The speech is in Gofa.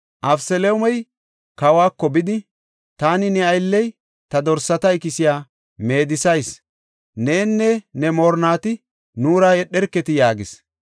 Abeseloomey kawako bidi, “Taani ne aylley ta dorsata ikisiya meedisayis; nenne ne moorinnati nuura yedherketii?” yaagis.